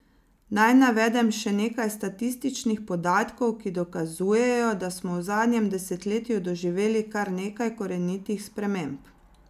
Naj navedem še nekaj statističnih podatkov, ki dokazujejo, da smo v zadnjem desetletju doživeli kar nekaj korenitih sprememb.